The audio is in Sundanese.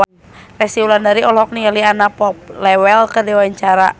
Resty Wulandari olohok ningali Anna Popplewell keur diwawancara